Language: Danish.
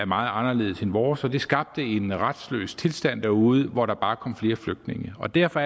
meget anderledes end vores og det skabte en retsløs tilstand derude hvor der bare kom flere flygtninge og derfor